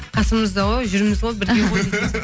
қасымызда ғой жүрміз ғой бірге ғой